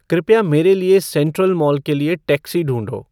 कृपया मेरे लिए सेंट्रल मॉल के लिए टैक्सी ढूँढो